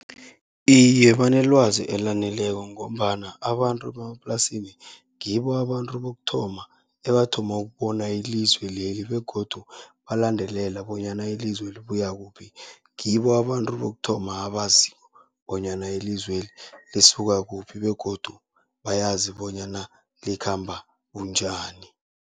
Iye, banelwazi elaneleko ngombana abantu bemaplasini ngibo abantu bokuthoma, ebathoma ukubona ilizwe leli begodu balandelela bonyana ilizwe libuya kuphi. Ngibo abantu bokuthoma abaziko bonyana ilizweli lisuka kuphi begodu bayazi bonyana likhamba bunjani.